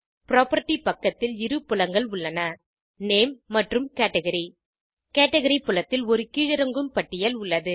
property பக்கத்தில் இரு புலங்கள் உள்ளன - நேம் மற்றும் கேட்கரி கேட்கரி புலத்தில் ஒரு கீழிறங்கும் பட்டியல் உள்ளது